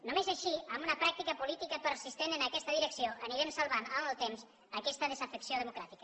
només així amb una pràctica política persistent en aquesta direcció anirem salvant en el temps aquesta desafecció democràtica